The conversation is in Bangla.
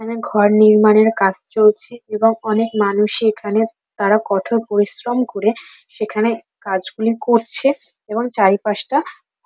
এখানে ঘর নির্মাণের কাজ চলছে এবং অনেক মানুষই এখানে তারা কঠোর পরিশ্রম করে সেখানে কাজগুলো করছে এবং চারিপাশটা--